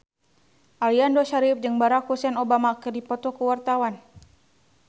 Aliando Syarif jeung Barack Hussein Obama keur dipoto ku wartawan